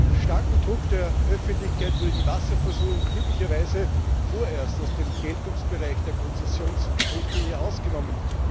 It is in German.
Durch den starken Druck der Öffentlichkeit wurde die Wasserversorgung glücklicherweise vorerst aus dem Geltungsbereich der Konzessionsrichtlinie ausgenommen.